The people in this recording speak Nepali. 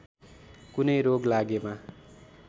कुनै रोग लागेमा